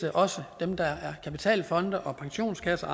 også dem der er kapitalfonde pensionskasser